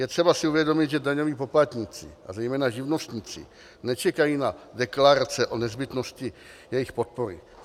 Je třeba si uvědomit, že daňoví poplatníci a zejména živnostníci nečekají na deklarace o nezbytnosti jejich podpory.